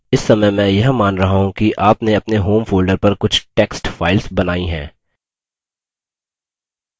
इस समय मैं यह मान रहा हूँ कि आपने अपने home folder पर कुछ text files बनायीं हैं